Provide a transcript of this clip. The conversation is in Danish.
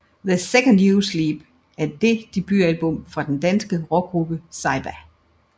The Second You Sleep er det debutalbummet fra den danske rockgruppe Saybia